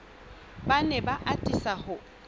ba ne ba atisa ho